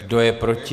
Kdo je proti?